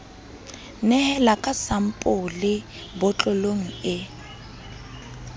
nehela ka sampole botlolong e